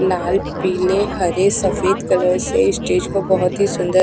लाल पीले हरे सफेद कलर से स्टेज को बहोत ही सुंदर--